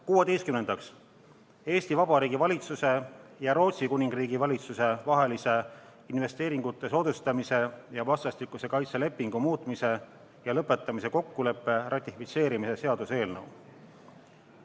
Kuueteistkümnendaks, Eesti Vabariigi valitsuse ja Rootsi Kuningriigi valitsuse vahelise investeeringute soodustamise ja vastastikuse kaitse lepingu muutmise ja lõpetamise kokkuleppe ratifitseerimise seaduse eelnõu.